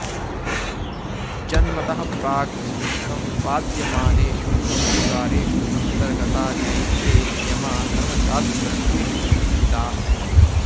जन्मतः प्राक् सम्पाद्यमानेषु संस्कारेषु अन्तर्गता नैके नियमा धर्मशास्त्रग्रन्थेषु उल्लिखिताः